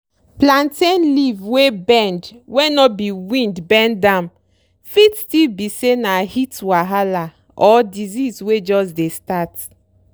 plantain leaf wey bend wey no be wind bend am fit still be say na heat wahala or disease wey jus dey start